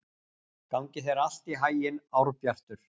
Gangi þér allt í haginn, Árbjartur.